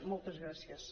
moltes gràcies